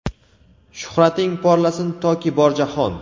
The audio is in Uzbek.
Shuhrating porlasin toki bor jahon!.